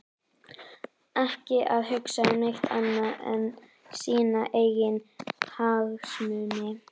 Ekki að hugsa um neitt annað en sína eigin hagsmuni!